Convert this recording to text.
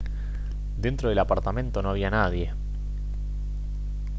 dentro del apartamento no había nadie